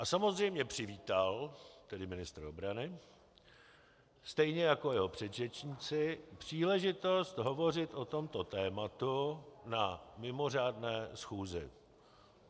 A samozřejmě přivítal, tedy ministr obrany, stejně jako jeho předřečníci příležitost hovořit o tomto tématu na mimořádné schůzi.